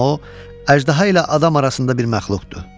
Amma o əjdaha ilə adam arasında bir məxluqdur.